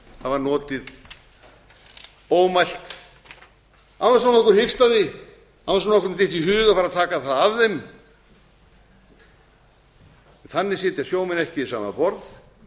hafa notið ómælt án þess að nokkur hikstaði án þess að nokkrum dytti í hug að fara að taka það af þeim þannig sitja sjómenn ekki við sama borð